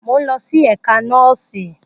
Mo n lọ si ẹka nọọsi.